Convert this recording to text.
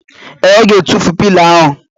Ee, Ọ ga-atụfu pilo ahụ.